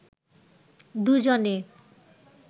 দুজনে